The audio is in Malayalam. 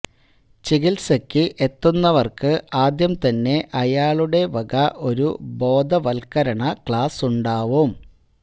ചികിത്സക്ക് എത്തുന്നവർക്ക് ആദ്യം തന്നെ അയാളുടെ വക ഒരു ബോധവത്കരണ ക്ലാസുണ്ടാവും